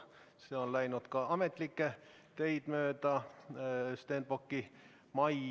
See on läinud ametlikke teid mööda Stenbocki majja.